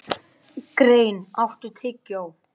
Dorothea, heyrðu í mér eftir áttatíu og tvær mínútur.